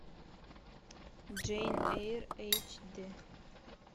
джейн эйр эйч дэ